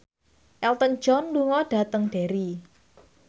Elton John lunga dhateng Derry